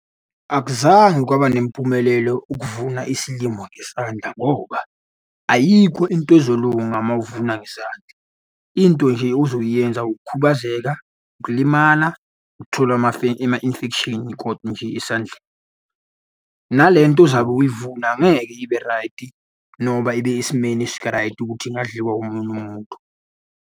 Akuzange kwabanempumelelo ukuvuna isilimo ngesandla ngoba ayikho into ezolunga uma uvuna ngesandla. Into nje ozoyenza ukukhubazeka, ukulima, ukuthola ama-infection koda nje esandleni. Nale nto ozabe uyivula angeke ibe raydi, noba ibe esimeni esiraydi ukuthi ingadliwa omunye umuntu.